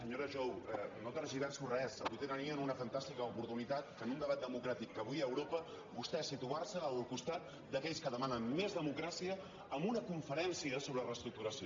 senyora jou no tergiverso res avui tenien una fantàstica oportunitat de en un debat democràtic que avui hi ha a europa vostè situar se al costat d’aquells que demanen més democràcia en una conferència sobre reestructuració